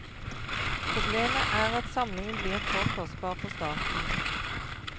Problemet er at samlingen blir for kostbar for staten.